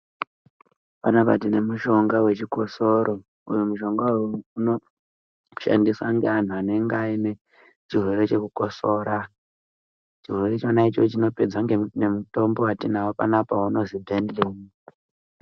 Panapa tine mushonga wechikosoro uyu mushonga uyu unoshandiswa ngevantu vanenge vaine chirwere chekukosora chirwere chona ichocho chinopedzwa ngemutombo watinawo panapa unonzi Benlil.